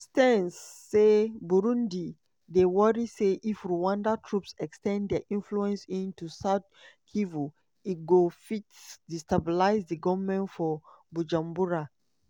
stearns say "burundi dey worry say if rwandan troops… ex ten d dia influence into south kivu e go fit destabilize di goment for bujumbura."